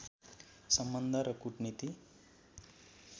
सम्बन्ध र कूटनीति